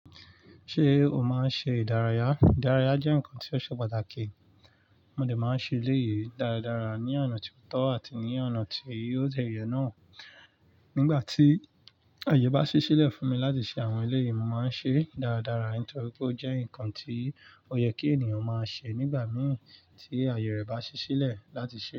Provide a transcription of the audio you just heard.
Ṣé o máa ń ṣe ìdárayá? Ìdárayá jẹ́ nǹkan tí ó ṣe pàtàkì. Mo dè máa ń ṣe eleyìí dáradára ní ọ̀nà tí o tọ́ àti ní ọ̀nà tí ó dẹ́ yẹ́ náà. Nígbà tí àyè bá ṣí sílẹ̀ fún mi láti ṣe àwọn eléyìí, mo máa ń ṣe é dáradára nítorí pé ó jẹ́ nǹkan tí ó yẹ kí ènìyàn máa ṣe nígbà mìíràn tí àyè rẹ̀ bá ṣí sílẹ̀ láti ṣe é.